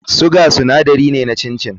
Sugar sinadari ne na chin chin.